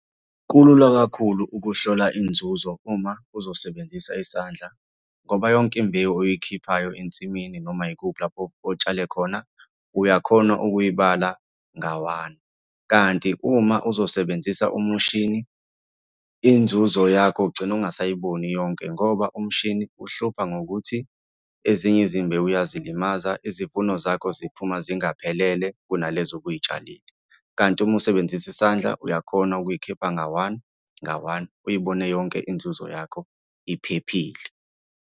Kulula kakhulu ukuhlola inzuzo uma uzosebenzisa isandla, ngoba yonke imbewu oyikhiphayo ensimini noma yikuphi lapho otshale khona, uyakhona ukuyibala nga-one, kanti uma uzosebenzisa umushini, inzuzo yakho ugcina ungasayiboni yonke ngoba umshini uhlupha ngokuthi ezinye izimbewu uyazilimaza. Izivuno zakho ziphuma zingaphelele kunalezo obuy'tshalile, kanti uma usebenzisa isandla, uyakhona ukuy'khipha nga-one, nga-one, uyibone yonke inzuzo yakho iphephile.